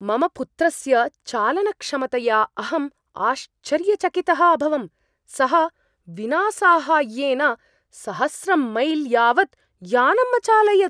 मम पुत्रस्य चालनक्षमतया अहम् आश्चर्यचकितः अभवम्, सः विना साहाय्येन सहस्रं मैल् यावत् यानम् अचालयत्!